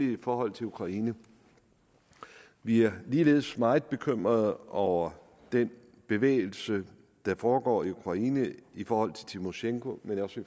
i forhold til ukraine vi er ligeledes meget bekymrede over den bevægelse der foregår i ukraine i forhold til tymosjenko men også i